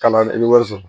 Kalan wari sɔrɔ